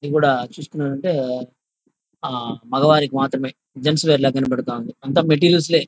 ఇది గూడా చూసుకునేది ఉంటే ఆ మగవారికి మాత్రమే జెంట్స్ వేర్ ల కనబడతా ఉంది. అంతా మాటేరియల్స్ సే.